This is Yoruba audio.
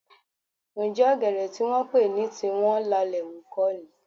Ǹjẹ́ ọ̀gẹ̀dẹ̀ tí wọ́n pè ní tiwọn lalẹ̀ hù kọ́ ni?